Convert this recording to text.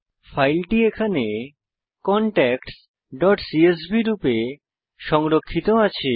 ফাইলটি এখানে contactsসিএসভি রূপে সংরক্ষিত আছে